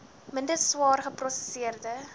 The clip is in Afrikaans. minder swaar geprosesseerde